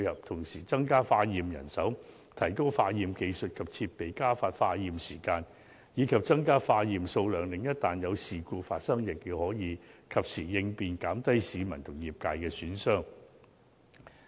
同時，增加化驗人手，提高化驗技術及設備，加快化驗時間，以及增加化驗數量，一旦有事故發生，亦可及時作出應變，減低對市民和業界的損害。